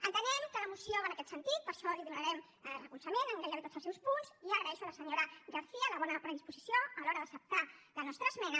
entenem que la moció va en aquest sentit per això li donarem recolzament en gairebé tots els seus punts i agraeixo a la senyora garcía la bona predisposició a l’hora d’acceptar la nostra esmena